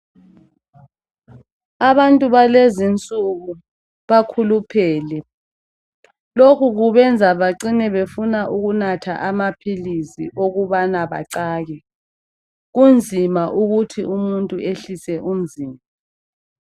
Abantu balezinsuku bakhuluphele lokhu kubenza bacine befuna ukunatha amaphilisi ukubana bacake kunzima ukuthi umuntu ehlise umzimba.